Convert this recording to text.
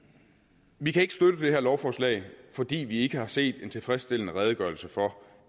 vi kan ikke støtte det her lovforslag fordi vi ikke har set en tilfredsstillende redegørelse for